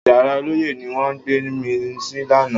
Yàrá ọlọ́yẹ́ ni wọ́n gbé mi sí lánàá